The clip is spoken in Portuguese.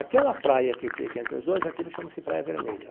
Aquela praia que fica entre os dois, aquilo chama-se Praia Vermelha.